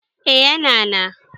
eh yana na